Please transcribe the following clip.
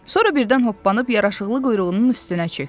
Sonra birdən hoppanıb yaraşıqlı quyruğunun üstünə çökdü.